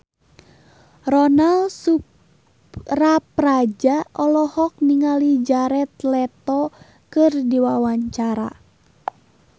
Ronal Surapradja olohok ningali Jared Leto keur diwawancara